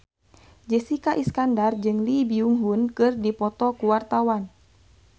Jessica Iskandar jeung Lee Byung Hun keur dipoto ku wartawan